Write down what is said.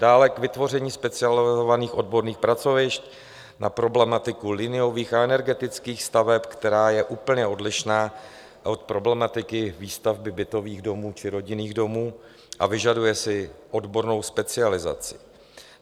Dále k vytvoření specializovaných odborných pracovišť na problematiku liniových a energetických staveb, která je úplně odlišná od problematiky výstavby bytových domů či rodinných domů a vyžaduje si odbornou specializaci.